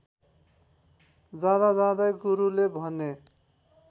जाँदाजाँदै गुरुले भने